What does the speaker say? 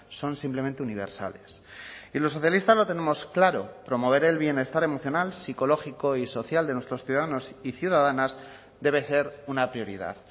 son simplemente universales y los socialistas lo tenemos claro promover el bienestar emocional psicológico y social de nuestros ciudadanos y ciudadanas debe ser una prioridad